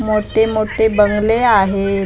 मोठेमोठे बंगले आहेत झाड --